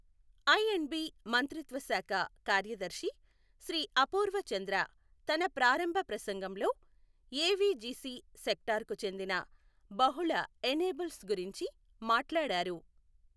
I and B మంత్రిత్వ శాఖ కార్యదర్శి శ్రీ అపూర్వ చంద్ర తన ప్రారంభ ప్రసంగంలో ఏవిజిసి సెక్టార్కు చెందిన బహుళ ఎనేబుల్స్ గురించి మాట్లాడారు.